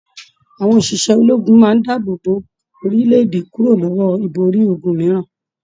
Àwọn òṣìṣẹ́ ṣẹ ológun máa n dáàbò bò orílẹ̀-èdè kúrò lọwọ ibori ogún mìíràn.